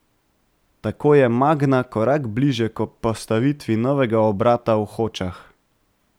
Tako je Magna korak bližje k postavitvi novega obrata v Hočah.